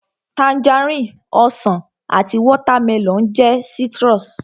Tangerine, Ọsàn àti watermelon jẹ́ citrus